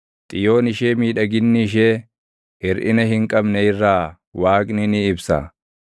Xiyoon ishee miidhaginni ishee hirʼina hin qabne irraa Waaqni ni ibsa.